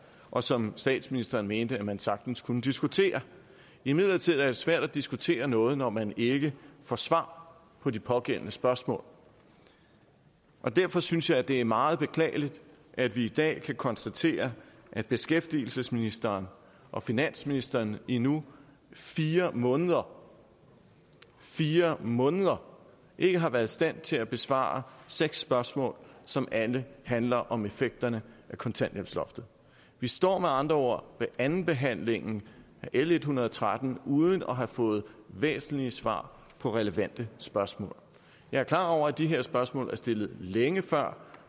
og som statsministeren mente at man sagtens kunne diskutere imidlertid er det svært at diskutere noget når man ikke får svar på de pågældende spørgsmål og derfor synes jeg at det er meget beklageligt at vi i dag kan konstatere at beskæftigelsesministeren og finansministeren i nu fire måneder fire måneder ikke har været i stand til at besvare seks spørgsmål som alle handler om effekterne af kontanthjælpsloftet vi står med andre ord ved andenbehandlingen af l en hundrede og tretten uden at have fået væsentlige svar på relevante spørgsmål jeg er klar over at de her spørgsmål er stillet længe før